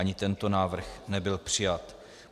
Ani tento návrh nebyl přijat.